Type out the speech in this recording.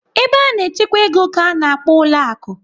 Ebe a na-echekwa ego ka a na-akpọ ụlọ akụ.